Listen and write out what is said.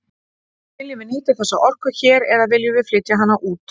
Viljum við nýta þessa orku hér eða viljum við flytja hana út?